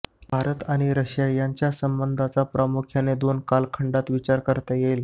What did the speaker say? भारत आणि रशिया यांच्या संबंधाचा प्रामुख्याने दोन कालखंडात विचार करता येईल